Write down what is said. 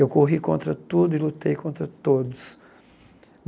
Eu corri contra tudo e lutei contra todos.